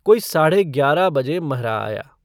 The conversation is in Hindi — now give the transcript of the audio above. कोई साढ़े ग्यारह बजे महरा आया।